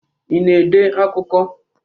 Ị na-ede akụkọ?